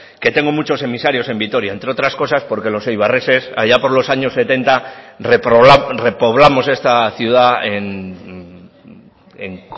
que tengo muchos emisarios en vitoria entre otras cosas porque los eibarreses allá por los años setenta repoblamos esta ciudad en